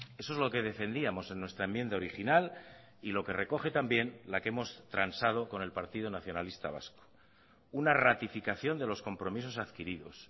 eso es lo que defendíamos en nuestra enmienda original y lo que recoge también la que hemos transado con el partido nacionalista vasco una ratificación de los compromisos adquiridos